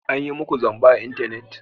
An yi muku zamba a intanet?